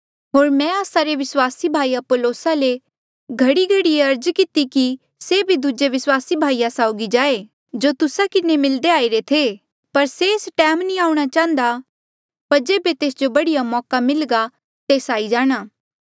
होर मैं आस्सा रे विस्वासी भाई अपुल्लोसा ले घड़ीघड़ीये अर्ज किती कि से भी दूजे विस्वासी भाईया साउगी जाये जो तुस्सा किन्हें मिलदे आईरे थे पर से एस टैम नी आऊंणा चाहन्दा पर जेबे तेस जो बढ़िया मौका मिल्घा तेस आई जाणा